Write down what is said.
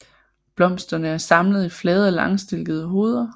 Blomsterne er samlet i flade og langstilkede hoveder